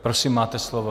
Prosím, máte slovo.